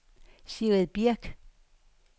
Sigrid Birch